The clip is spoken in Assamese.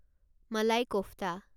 মালাই কোফ্তা